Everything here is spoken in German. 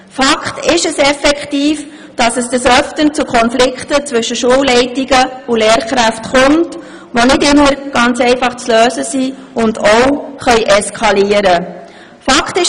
Fakt ist, dass Konflikte zwischen Schulleitungen und Lehrkräften oft vorkommen, dass sie nicht immer einfach zu lösen sind und auch eskalieren können.